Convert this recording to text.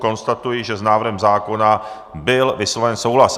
Konstatuji, že s návrhem zákona byl vysloven souhlas.